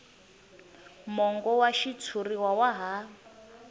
mongo wa xitshuriwa wa ha